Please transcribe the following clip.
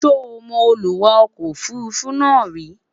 sọ mọ Olúwa ọkọ òfurufú náà ríi?